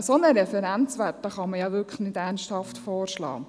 Ein solcher Referenzwert kann man nicht ernsthaft vorschlagen.